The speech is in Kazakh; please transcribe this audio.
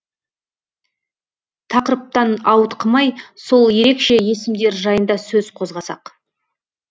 тақырыптан ауытқымай сол ерекше есімдер жайында сөз қозғасақ